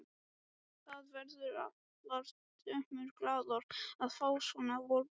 Það verða allar dömur glaðar að fá svona vorboð.